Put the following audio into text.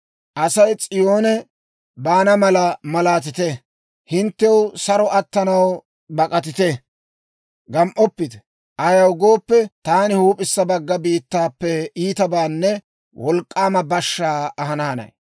Asay S'iyoone baana mala malaatite! Hinttew saro attanaw bak'atite! Gam"oppite! Ayaw gooppe, taani huup'issa bagga biittaappe iitabaanne wolk'k'aama bashaa ahana hanay.